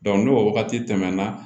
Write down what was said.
n'o wagati tɛmɛna